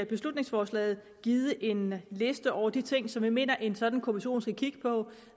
beslutningsforslaget givet en liste over de ting som vi mener at en sådan kommission skal kigge på